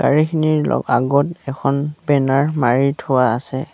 গাড়ীখিনিৰ ল আগত এখন বেনাৰ মাৰি থোৱা আছে।